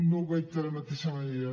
no ho veig de la mateixa manera